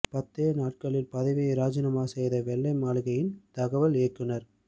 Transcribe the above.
பத்தே நாட்களில் பதவியை ராஜினாமா செய்த வெள்ளை மாளிகையின் தகவல் இயக்குனர்